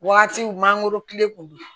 Wagati kun mangoro kilen kun don